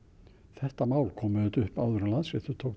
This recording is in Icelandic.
þetta mál kom auðvitað upp áður en Landsréttur